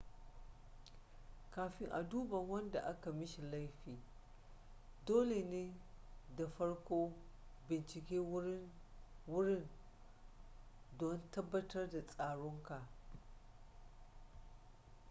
kafin a duba wanda aka mishi laifi dole ne ka farko bincike wurin don tabbatar da tsaronka